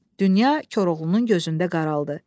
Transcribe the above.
Dünya Koroğlunun gözündə qaraldı.